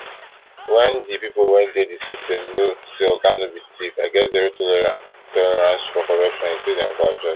wen di pipo wey dey di system know say oga no be thief i get zero tolerance for corruption e say dem go adjust